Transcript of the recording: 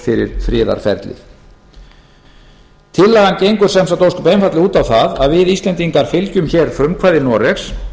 fyrir friðarferlið tillagan gengur sem sagt ósköp einfaldlega út á það að við íslendingar fylgjum hér frumkvæði noregs